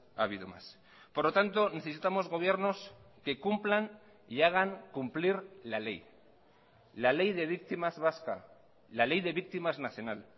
ha habido más por lo tanto necesitamos gobiernos que cumplan y hagan cumplir la ley la ley de víctimas vasca la ley de víctimas nacional